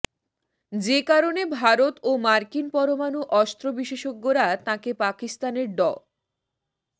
যে কারণে ভারত ও মার্কিন পরমাণু অস্ত্র বিশেষজ্ঞরা তাঁকে পাকিস্তানের ড